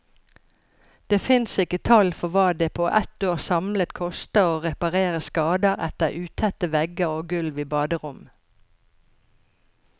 Det fins ikke tall for hva det på ett år samlet koster å reparere skader etter utette vegger og gulv i baderom.